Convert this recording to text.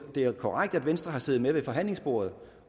er jo korrekt at venstre har siddet med ved forhandlingsbordet